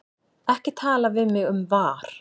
Ekki tala við mig um VAR.